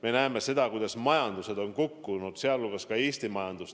Me näeme, kuidas majandused on kukkunud, sealhulgas ka Eesti majandus.